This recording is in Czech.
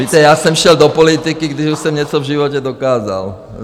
Víte, já jsem šel do politiky, když už jsem něco v životě dokázal.